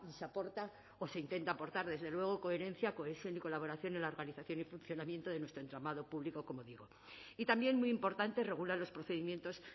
se aporta o se intenta aportar desde luego coherencia cohesión y colaboración en la organización y funcionamiento de nuestro entramado público como digo y también muy importante regula los procedimientos